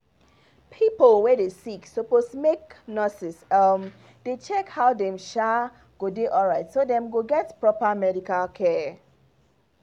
pipo wey dey sick suppose make nurses um dey check how dem um go dey alright so dem go get proper medical care